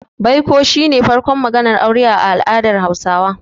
Baiko shi ne farkon maganar aure a al'adar Hausawa.